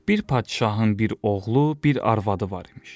Bir padşahın bir oğlu, bir arvadı var imiş.